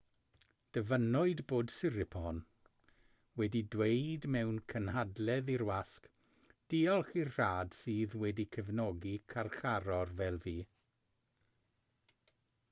dyfynnwyd bod siriporn wedi dweud mewn cynhadledd i'r wasg diolch i'r rhad sydd wedi cefnogi carcharor fel fi